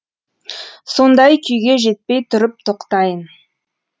сондай күйге жетпей тұрып тоқтайын